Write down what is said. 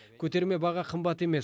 көтерме баға қымбат емес